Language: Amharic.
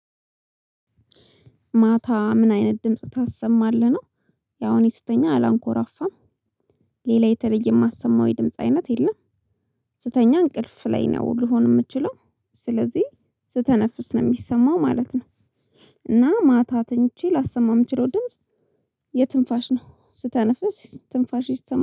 ማታ ምን አይነት ድምጽ ታሰማለህ ነው? ያው እኔ ስተኛ አላንኮራፋም። ሌላ የተለየ ማሰማው የድምጽ አይነት የለም። ስተኛ እንቅልፍ ላይ ነው ልሆን ምችለው ስለዚህ ስተነፍስ ነው ሚሰማው ማለት ነው። እና ማታ ተኝቼ ላሰማ ምችለው ድምጽ የትንፋሽ ነው ስተነፍስ ትንፋሼ ይሰማል